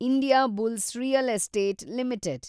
Indiabulls real estate limited